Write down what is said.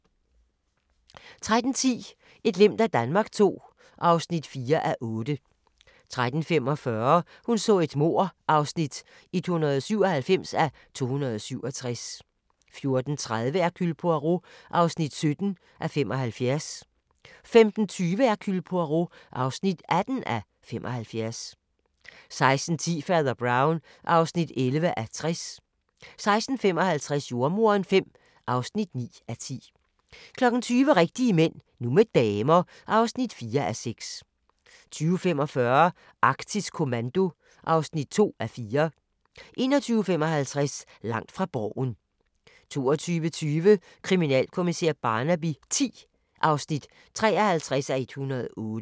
13:10: Et glimt af Danmark II (4:8) 13:45: Hun så et mord (197:267) 14:30: Hercule Poirot (17:75) 15:20: Hercule Poirot (18:75) 16:10: Fader Brown (11:60) 16:55: Jordemoderen V (9:10) 20:00: Rigtige mænd – nu med damer (4:6) 20:45: Arktisk Kommando (2:4) 21:55: Langt fra Borgen 22:20: Kriminalkommissær Barnaby X (53:108)